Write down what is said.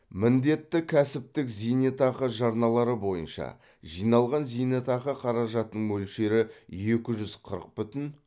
міндетті кәсіптік зейнетақы жарналары бойынша жиналған зейнетақы қаражатының мөлшері екі жүз қырық бүтін